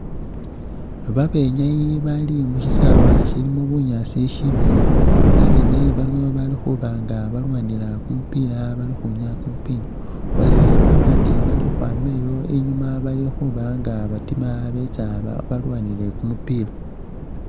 Babenyayi bali mu shisawe shilimo bunyaasi shimiliyu, babenyayi bano bali khuba nga balwanila kumupila bali khukhwinyaa kumupila. Waliwo babandi bali khukhwama iyo bali khuba nga batima betsa balwanila kumupila.